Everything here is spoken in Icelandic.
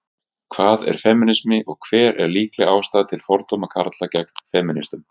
hvað er femínismi og hver er líkleg ástæða til fordóma karla gagnvart femínistum